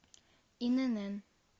инн